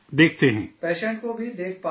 patient کو بھی دیکھ پاتے ہیں، جی